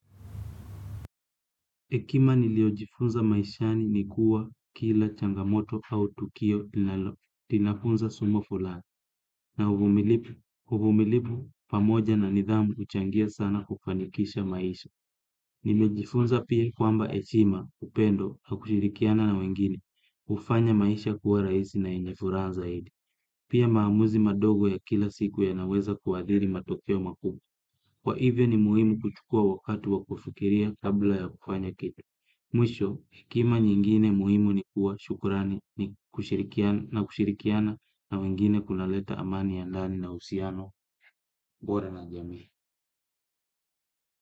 Hekima niliojifunza maishani ni kuwa kila changamoto au tukio inafunza somo fulani. Na uvumilivu pamoja na nidhamu huchangia sana kufanikisha maisha. Nimejifunza pia kwamba heshima, upendo, na kushirikiana na wengine. Hufanya maisha kuwa rahisi na yenye furaha zaidi. Pia maamuzi madogo ya kila siku yanaweza kuathiri matokeo makubwa. Kwa hivyo ni muhimu kuchukua wakati wa kufikiria kabla ya kufanya kitu. Mwisho, hekima nyingine muhimu ni kuwa shukurani na kushirikiana na wengine kunaleta amani ya ndani na uhusiano bora na jamii.